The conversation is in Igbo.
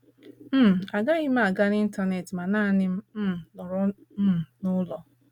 um □ Agaghị m aga n’Intanet ma naanị m um nọrọ um n’ụlọ.